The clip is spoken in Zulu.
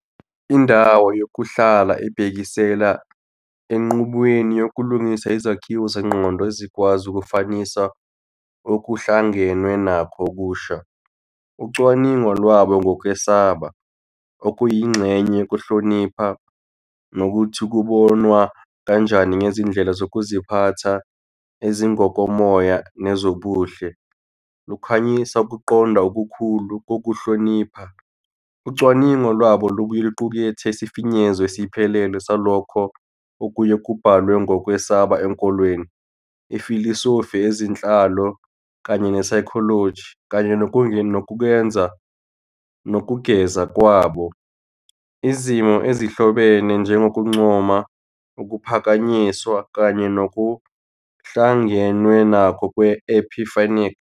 "Indawo yokuhlala ibhekisela "Enqubweni yokulungisa izakhiwo zengqondo ezingakwazi ukufanisa okuhlangenwe nakho okusha". Ucwaningo lwabo ngokwesaba, okuyingxenye yokuhlonipha, nokuthi kubonwa kanjani ngezindlela zokuziphatha, ezingokomoya, nezobuhle, lukhanyisa ukuqonda okukhulu kokuhlonipha. Ucwaningo lwabo lubuye luqukethe isifinyezo esiphelele salokho okuye "Kubhalwe ngokwesaba enkolweni, ifilosofi, ezenhlalo, kanye ne-psychology" kanye nokungeza kwabo "Izimo ezihlobene njengokuncoma, ukuphakanyiswa, kanye nokuhlangenwe nakho kwe-epiphanic".